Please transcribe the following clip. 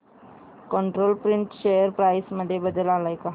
control print share price मध्ये बदल आलाय का